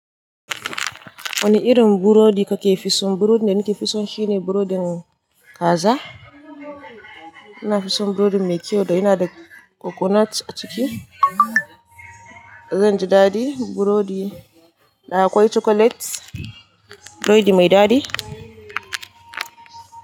Wane irin burodi kake fi son? Burodin da nake fi so shine burodin kaza. Ina fi son burodin mai kyau da yana da coconut a ciki. Zanji daɗi, burodi da akwai chocolate, burodi mai dadi.